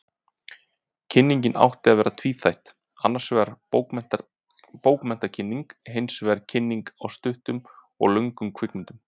Kynningin átti að vera tvíþætt, annarsvegar bókmenntakynning, hinsvegar kynning á stuttum og löngum kvikmyndum.